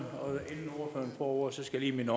vores socialt